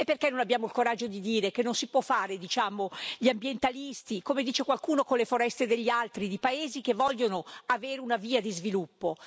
E perché non abbiamo il coraggio di dire che non si può fare gli ambientalisti, come dice qualcuno, con le foreste degli altri, di paesi che vogliono avere una via di sviluppo?